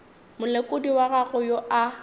molekodi wa gago yo a